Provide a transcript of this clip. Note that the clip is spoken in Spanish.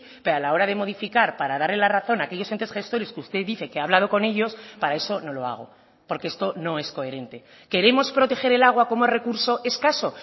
pero a la hora de modificar para darle la razón a aquellos entes gestores que usted dice que ha hablado con ellos para eso no lo hago porque esto no es coherente queremos proteger el agua como recurso escaso